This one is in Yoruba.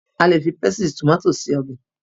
A lè fi pésìtì tòmátò se ọbẹ̀.